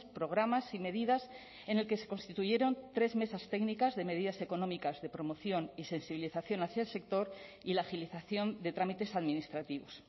programas y medidas en el que se constituyeron tres mesas técnicas de medidas económicas de promoción y sensibilización hacia el sector y la agilización de trámites administrativos